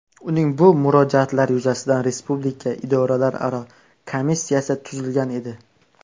Uning bu murojaatlari yuzasidan Respublika idoralararo komissiyasi tuzilgan edi .